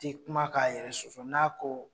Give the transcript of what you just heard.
T' kuma ka yɛrɛ sɔsɔ, n'a ko